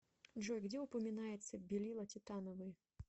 джой где упоминается белила титановые